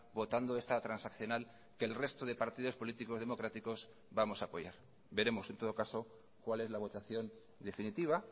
votando esta transaccional que el resto de partidos políticos democráticos vamos a apoyar veremos en todo caso cuál es la votación definitiva